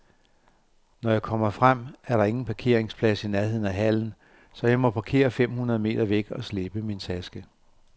Når jeg kommer frem, er der ingen parkeringsplads i nærheden af hallen, så jeg må parkere fem hundrede meter væk og slæbe min taske.